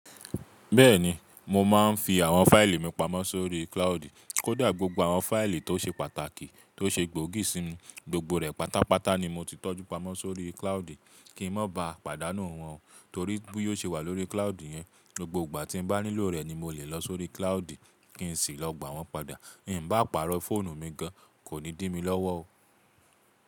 Bẹ́ẹ̀ni, mo máa n fii àwọn faili mi pamọ́ si ori klaudi. Kódà gbogbo àwọn fáìlì tó ṣe pàtàkì, tó ṣe gbóògì sí mi, gbogbo rẹ̀ pátápátá ni mo ti tọ́jú pamọ́ sórí cloude kí ń mọ bá pàdánù wọ́n torí bó yóò ṣe wà lórí cloude yẹn. Gbogbo ìgbà tí n bá nílò rẹ̀ ni mo lè lọ sórí cloude kí n sì lọ gbà wọ́n padà. Ì n bá pàrọ̀ fóònù mi gan, kò ní dí mi lọ́wọ́ o.